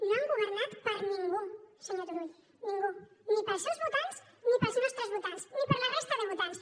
no han governat per ningú senyor turull ningú ni per als seus votants ni per als nostres votants ni per a la resta de votants